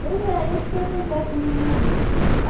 Pois é, isso que acontece na minha vida.